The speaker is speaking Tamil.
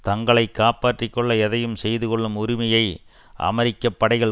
தங்களை காப்பாற்றி கொள்ள எதையும் செய்துகொள்ளும் உரிமையை அமெரிக்க படைகள்